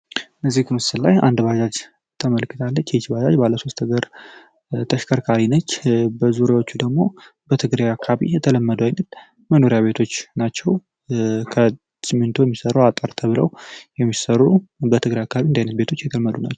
በዚህ ምስል ላይ አንድ ባጃጅ ተመልክታለች ይች ባጃጅ ባለሶስት እግር አሽከርካሪ ነች። በዙሪያዎች ደግሞ በትግሬ አካባቢ የተለመዱ አይነት መኖሪያ ቤቶች ናቸው። ከስሚንቶ የሚሰሩ በትግሬ አካባቢ የተለመዱ ናቸው።